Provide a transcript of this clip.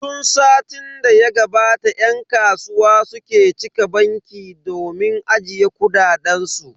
Tun satin da ya gabata yan kasuwa suke cika banki domin ajiye kuɗaɗen su.